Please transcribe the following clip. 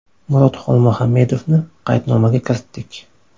Murod Xolmuhammedovni qaydnomaga kiritdik.